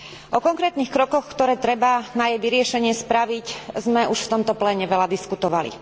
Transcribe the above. O konkrétnych krokoch, ktoré treba na jej vyriešenie spraviť, sme už v tomto pléne veľa diskutovali.